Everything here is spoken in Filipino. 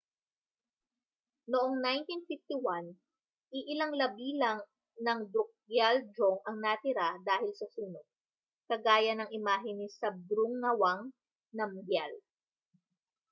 noong 1951 iilang labi lang ng drukgyal dzong ang natira dahil sa sunog kagaya ng imahen ni zhabdrung ngawang namgyal